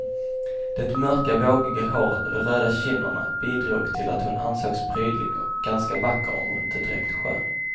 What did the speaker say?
Det mörka, vågiga håret och de röda kinderna bidrog till att hon ansågs prydlig och ganska vacker om inte direkt skön.